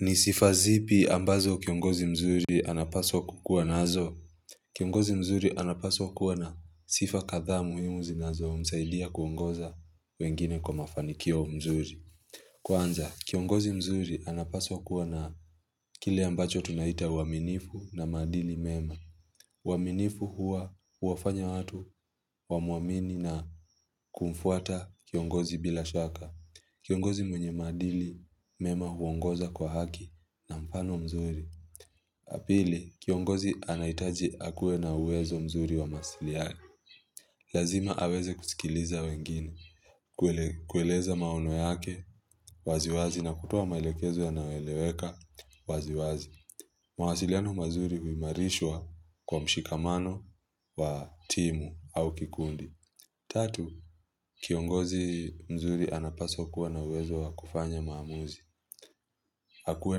Ni sifa zipi ambazo kiongozi mzuri anapaswa kukuwa nazo Kiongozi mzuri anapaswa kuwa na sifa kadhaa muhimu zinazo msaidia kuongoza wengine kwa mafanikio mzuri Kwanza kiongozi mzuri anapaswa kuwa na kile ambacho tunaita uaminifu na maadili mema uaminifu huwa huwafanya watu wamuamini na kumfuata kiongozi bila shaka Kiongozi mwenye maadili mema huongoza kwa haki na mfano mzuri. La pili, kiongozi anahitaji akuwe na uwezo mzuri wa masili ali. Lazima aweze kusikiliza wengine, kueleza maono yake waziwazi na kutoa mailekezo yanaweleweka waziwazi. Mwasiliano mazuri huimarishwa kwa mshikamano wa timu au kikundi. Tatu, kiongozi mzuri anapaswa na uwezo wa kufanya maamuzi. Akuwe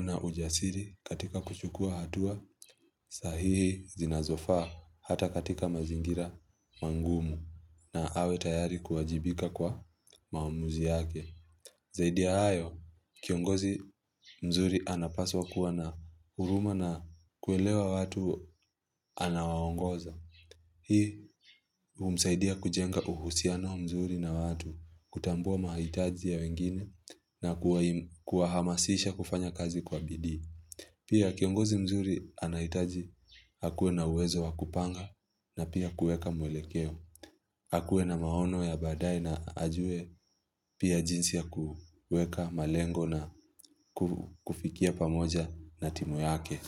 na ujasiri katika kuchukua hatua sahihi zinazofaa hata katika mazingira mangumu na awe tayari kuajibika kwa maamuzi yake. Zaidi ya hayo, kiongozi mzuri anapaswa kuwa na huruma na kuelewa watu anawaongoza. Hii humsaidia kujenga uhusiano mzuri na watu, kutambua mahitaji ya wengine na kuwahamasisha kufanya kazi kwa bidii. Pia kiongozi mzuri anahitaji akuwe na uwezo wa kupanga na pia kueka mwelekeo. Akuwe na maono ya baadaye na ajue pia jinsi ya kueka malengo na ku kufikia pamoja na timu yake.